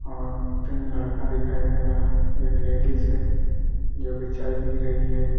और तीन लड़का दिखाई दे रहा है एक लेडीज है जो की चाय पी रही है।